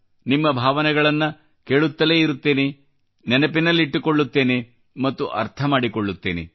ನಿಮ್ಮ ಭಾವನೆಗಳನ್ನ ಕೇಳುತ್ತಲೇ ಇರುತ್ತೇನೆ ನೆನಪಿನಲ್ಲಿಟ್ಟುಕೊಳ್ಳುತ್ತೇನೆ ಮತ್ತು ಅರ್ಥಮಾಡಿಕೊಳ್ಳತ್ತೇನೆ